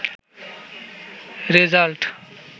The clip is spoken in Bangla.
রেজাল্ট